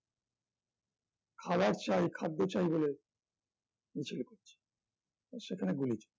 খাবার চাই খাদ্য চাই বলে মিছিল করছে আর সেখানে গুলি চলছে